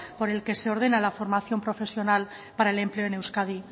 por el que se ordena la formación profesional para el empleo en euskadi